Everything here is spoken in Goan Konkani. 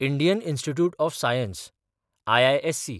Indian Institute of Science (IISc)